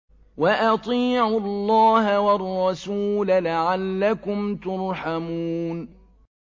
وَأَطِيعُوا اللَّهَ وَالرَّسُولَ لَعَلَّكُمْ تُرْحَمُونَ